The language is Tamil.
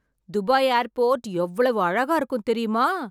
துபாய் ஏர்போர்ட் எவ்வளவு அழகா இருக்கும் தெரியுமா